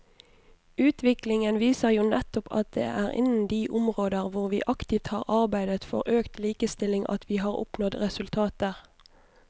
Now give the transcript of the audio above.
Utviklingen viser jo nettopp at det er innen de områder hvor vi aktivt har arbeidet for økt likestilling at vi har oppnådd resultater.